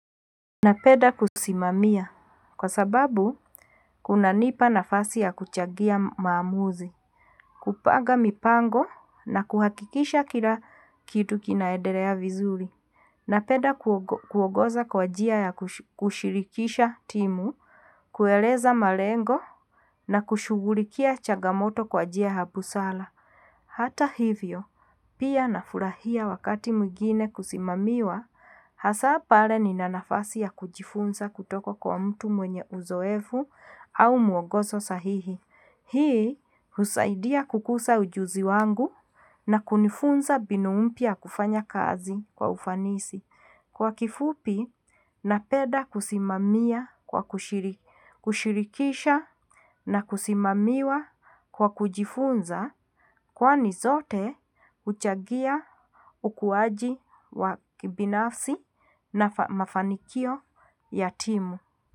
Napenda kusimamia kwa sababu kunanipa nafasi ya kuchangia maamuzi. Kupanga mipango na kuhakikisha kila kitu kinaendelea vizuri. Napenda kuogoza kwa njia ya kushirikisha timu, kueleza malengo. Na kushughulikia changamoto kwa njia ya busara. Hata hivyo pia nafurahia wakati mwingine kusimamiwa, hasa pale ni nafasi ya kujifunza kutoko kwa mtu mwenye uzoefu au mwongozo sahihi. Hii husaidia kukuza ujuzi wangu na kunifunza mbinu mpya kufanya kazi kwa ufanisi. Kwa kifupi napenda kusimamia kwa kushirikisha na kusimamiwa kwa kujifunza kwani zote huchangia ukuaji wa kibinafsi na mafanikio ya timu.